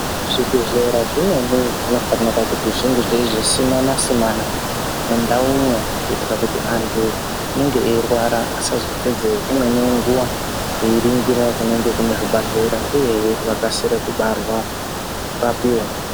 Zvibhedhlera zvimweni zvinofanirwa kuti zvinge zveyizosimana simana mundawu umwo kuitira kuti andu anenge eyirwara asazopedze dzimweni nguva eyirindira munenge kuyine zvibhedhlera uye hee vakasire kurapiwa.